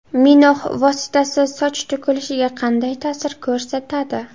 Minox vositasi soch to‘kilishiga qanday ta’sir ko‘rsatadi?